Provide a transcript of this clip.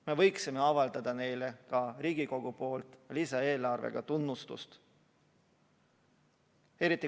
Me võiksime avaldada neile ka Riigikogu poolt lisaeelarvega tunnustust.